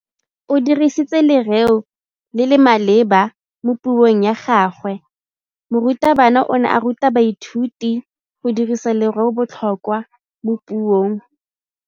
O dirisitse lerêo le le maleba mo puông ya gagwe. Morutabana o ne a ruta baithuti go dirisa lêrêôbotlhôkwa mo puong.